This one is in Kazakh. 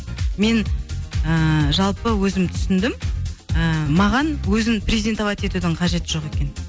мен ііі жалпы өзім түсіндім ііі маған өзін презентовать етудің қажеті жоқ екен